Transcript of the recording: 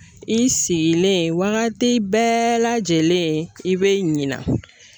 I sigilen wagati bɛɛ lajɛlen i bɛ ɲina.